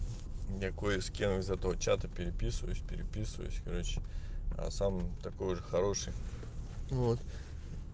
я кое с кем из этого чата переписываюсь переписываюсь короче а сам такой же хороший вот